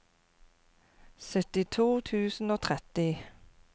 syttito tusen og tretti